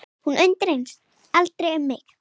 Hún undrast aldrei um mig.